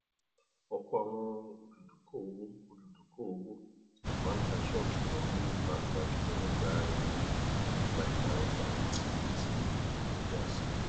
ọpọ àwọn olùdoko owó olùdoko owó máa ń tà ṣọọkì wọn ní pàápàá jùlọ nígbà ìyípadà ọjà àti ìpẹyà àsìkò